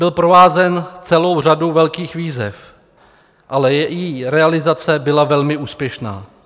Byl provázen celou řadou velkých výzev, ale jeho realizace byla velmi úspěšná.